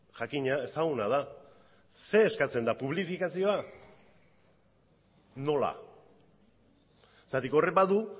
jakina ezaguna da zer eskatzen da publifikazioa nola zergatik horrek badu